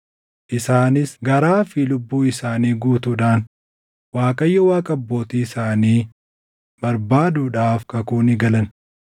Isaanis garaa fi lubbuu isaanii guutuudhaan Waaqayyo Waaqa abbootii isaanii barbaaduudhaaf kakuu ni galan.